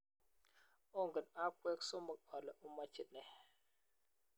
ongen akwek somok ale omache nee